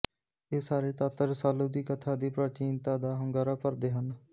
ਇਹ ਸਾਰੇ ਤੱਤ ਰਸਾਲੂ ਦੀ ਕਥਾ ਦੀ ਪ੍ਰਾਚੀਨਤਾ ਦਾ ਹੁੰਗਾਰਾ ਭਰਦੇ ਹਨ